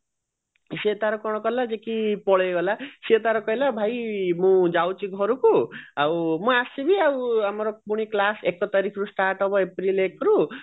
ସେ ତାର କଣ କଳା ଯେ କି ପଳେଈ ଗଲା ସେ ତାର କହିଲା ଭାଇ ମୁଁ ଯାଉଛି ଘରକୁ ଆଉ ମୁଁ ଆସିବି ଆଉ ଆମର ଦିନେ class ଏକ ତାରିଖରୁ start ହବ ଏପ୍ରିଲ ଏକ ରୁ